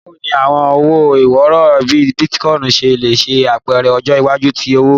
Bawo ni awọn owo iworo bii Bitcoin ṣe le ṣe apẹrẹ ọjọ iwaju ti owo?